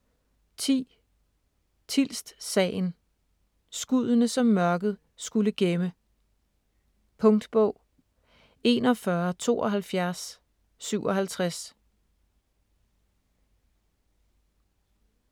10. Tilst-sagen: skuddene, som mørket skulle gemme Punktbog 417257